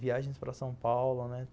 Viagens para São Paulo, né?